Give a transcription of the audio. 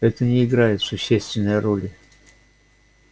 это не играет существенной роли